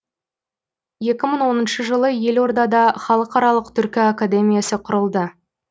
екі мың оныншы жылы елордада халықаралық түркі академиясы құрылды